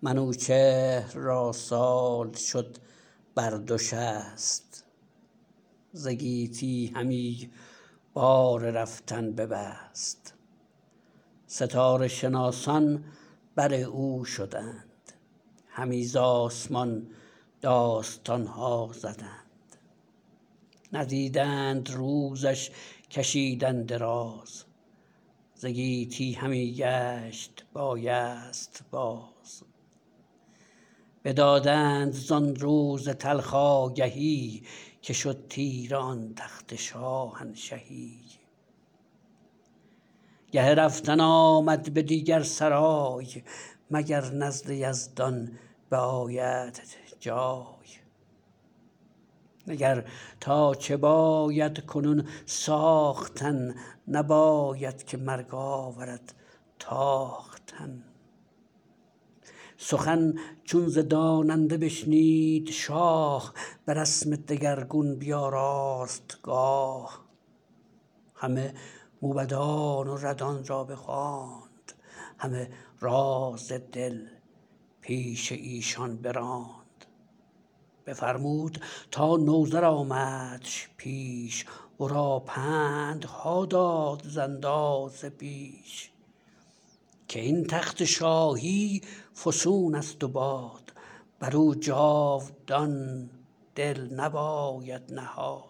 منوچهر را سال شد بر دو شست ز گیتی همی بار رفتن ببست ستاره شناسان بر او شدند همی ز آسمان داستانها زدند ندیدند روزش کشیدن دراز ز گیتی همی گشت بایست باز بدادند زان روز تلخ آگهی که شد تیره آن تخت شاهنشهی گه رفتن آمد به دیگر سرای مگر نزد یزدان به آیدت جای نگر تا چه باید کنون ساختن نباید که مرگ آورد تاختن سخن چون ز داننده بشنید شاه به رسم دگرگون بیاراست گاه همه موبدان و ردان را بخواند همه راز دل پیش ایشان براند بفرمود تا نوذر آمدش پیش ورا پندها داد ز اندازه بیش که این تخت شاهی فسونست و باد برو جاودان دل نباید نهاد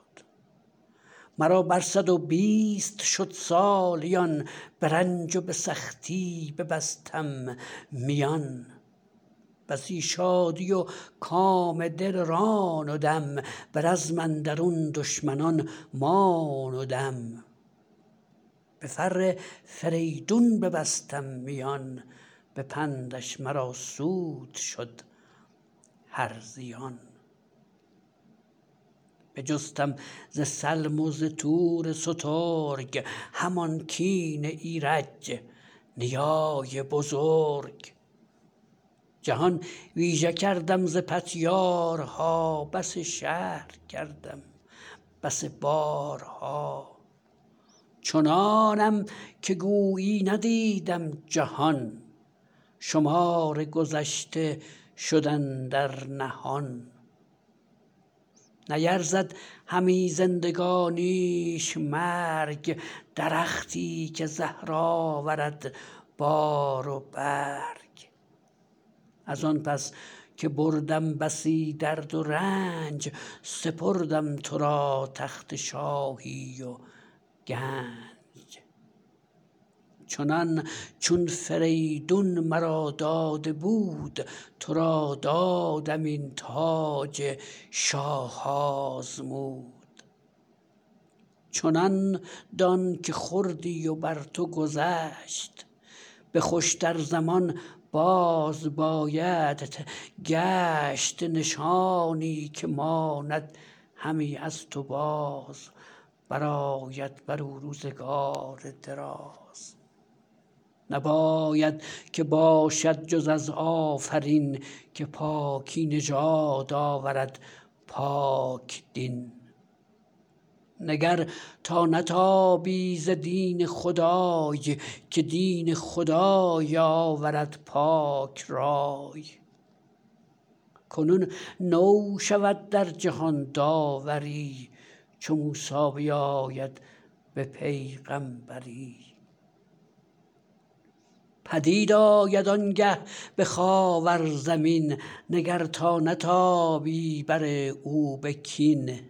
مرا بر صد و بیست شد سالیان به رنج و به سختی ببستم میان بسی شادی و کام دل راندم به رزم اندرون دشمنان ماندم به فر فریدون ببستم میان به پندش مرا سود شد هر زیان بجستم ز سلم و ز تور سترگ همان کین ایرج نیای بزرگ جهان ویژه کردم ز پتیاره ها بسی شهر کردم بسی باره ها چنانم که گویی ندیدم جهان شمار گذشته شد اندر نهان نیرزد همی زندگانیش مرگ درختی که زهر آورد بار و برگ ازان پس که بردم بسی درد و رنج سپردم ترا تخت شاهی و گنج چنان چون فریدون مرا داده بود ترا دادم این تاج شاه آزمود چنان دان که خوردی و بر تو گذشت به خوشتر زمان بازم بایدت گشت نشانی که ماند همی از تو باز برآید برو روزگار دراز نباید که باشد جز از آفرین که پاکی نژاد آورد پاک دین نگر تا نتابی ز دین خدای که دین خدای آورد پاک رای کنون نو شود در جهان داوری چو موسی بیاید به پیغمبری پدید آید آنگه به خاور زمین نگر تا نتابی بر او بر به کین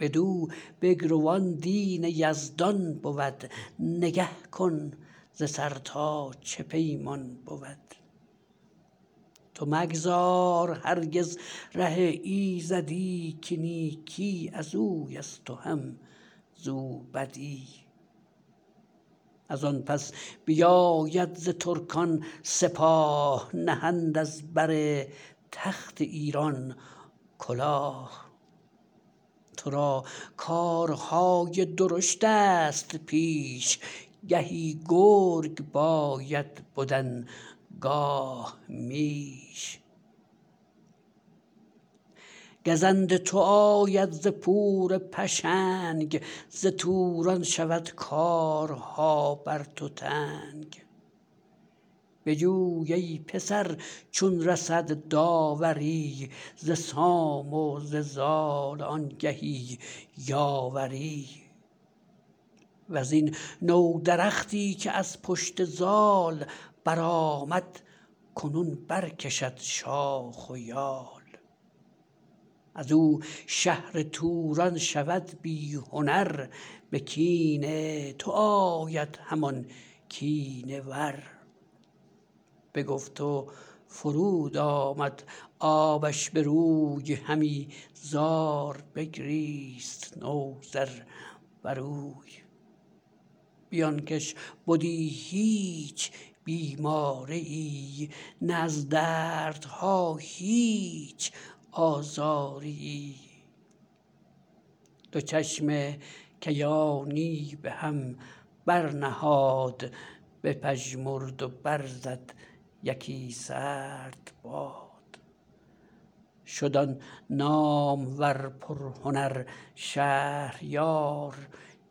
بدو بگرو آن دین یزدان بود نگه کن ز سر تا چه پیمان بود تو مگذار هرگز ره ایزدی که نیکی ازویست و هم زو بدی ازان پس بیاید ز ترکان سپاه نهند از بر تخت ایران کلاه ترا کارهای درشتست پیش گهی گرگ باید بدن گاه میش گزند تو آید ز پور پشنگ ز توران شود کارها بر تو تنگ بجوی ای پسر چون رسد داوری ز سام و ز زال آنگهی یاوری وزین نو درختی که از پشت زال برآمد کنون برکشد شاخ و یال ازو شهر توران شود بی هنر به کین تو آید همان کینه ور بگفت و فرود آمد آبش بروی همی زار بگریست نوذر بروی بی آنکش بدی هیچ بیماریی نه از دردها هیچ آزاریی دو چشم کیانی به هم بر نهاد بپژمرد و برزد یکی سرد باد شد آن نامور پرهنر شهریار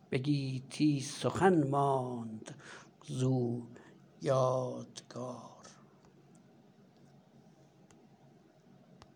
به گیتی سخن ماند زو یادگار